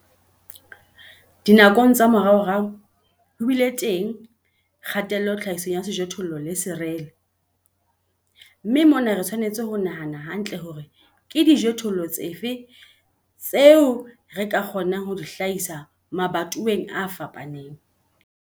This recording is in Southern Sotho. Dinakong tsa moraorao, ho bile teng kgatello tlhahisong ya sejothollo le serele, mme mona re tshwanetse ho nahana hantle hore ke dijothollo dife tseo re ka kgonang ho di hlahisa mabatoweng a fapaneng.